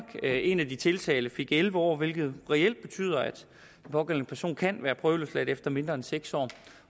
en af de tiltalte fik elleve år hvilket reelt betyder at den pågældende person kan være prøveløsladt efter mindre end seks år